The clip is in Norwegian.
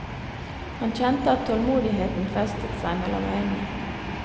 Han kjente at tålmodigheten festet seg mellom øynene.